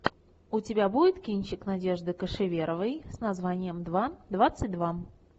у тебя будет кинчик надежды кошеверовой с названием два двадцать два